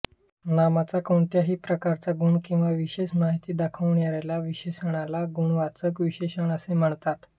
नामाचा कोणत्याही प्रकारचा गुण किंवा विशेष माहिती दाखविणाऱ्या विशेषणाला गुणवाचक विशेषण असे म्हणतात